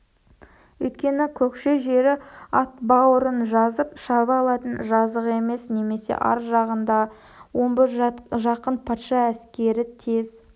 өйткені көкше жері ат бауырын жазып шаба алатын жазық емес және ар жағында омбы жақын патша әскері тез